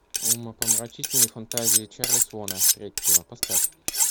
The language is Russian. умопомрачительные фантазии чарли свона третьего поставь